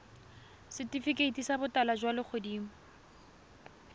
setifikeiti sa botala jwa legodimo